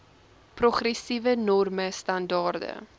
progressiewe norme standaarde